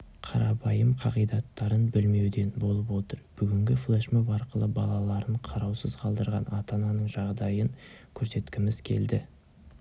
қарапайым қағидаттарын білмеуден болып отыр бүгінгі флешмоб арқылы балаларын қараусыз қалдырған ата-ананың жағдайын көрсеткіміз келді